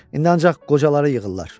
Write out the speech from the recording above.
İndi ancaq qocaları yığırlar.